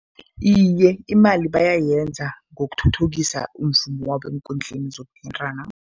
Iye, imali bayayenza ngokuthuthukisa umvumo wabo eenkundleni zokuthintana.